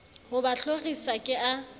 ho ba hlorisa ke a